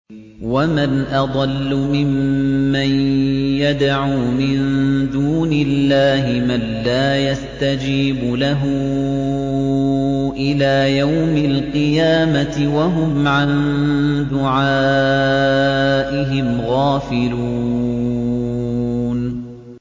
وَمَنْ أَضَلُّ مِمَّن يَدْعُو مِن دُونِ اللَّهِ مَن لَّا يَسْتَجِيبُ لَهُ إِلَىٰ يَوْمِ الْقِيَامَةِ وَهُمْ عَن دُعَائِهِمْ غَافِلُونَ